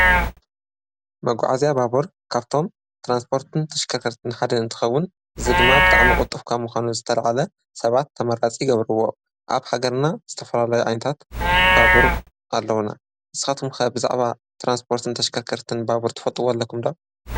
መጕዓዚያ ባቡር ካብቶም ትራንስፖርትን ተሽከርክርትን ሓደ እንትኸውን እዚ ድማ ብጣዕሚ ቝልጥፍ ካብ ምዃኑ ዝተልዓለ ሰባት ተመራፂ ይገብርዎ፡፡ ኣብ ሃገርና ዝተፈላላየ ዓይነታት ባቡር ኣለዉና፡፡ ንስኻትኩም ከ ብዛዕባ ተራንስፖርትን ተሽከርከርትን ባቡር ትፈልጥዎ ኣለኹም ዶ?